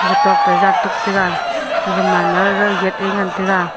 kutok toh jan tuk tega gaga man ma gaga gate a ngan tega.